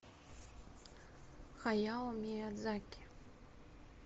хаяо миядзаки